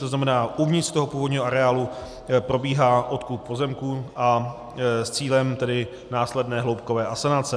To znamená, uvnitř toho původního areálu probíhá odkup pozemků s cílem tedy následné hloubkové asanace.